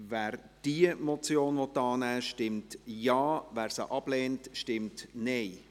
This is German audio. Wer diese Motion annehmen will, stimmt Ja, wer diese ablehnt, stimmt Nein.